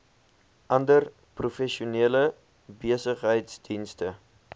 ander professionele besigheidsdienste